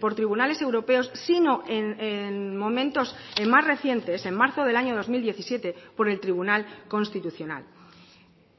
por tribunales europeos sino en momentos más recientes en marzo del año dos mil diecisiete por el tribunal constitucional